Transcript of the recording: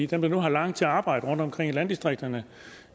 dem der har langt til arbejde rundtomkring i landdistrikterne